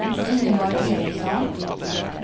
Ingeborg Eriksson